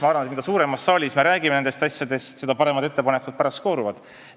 Ma arvan, et mida suuremas saalis me nendest asjadest räägime, seda paremad ettepanekud pärast arutelust välja kooruvad.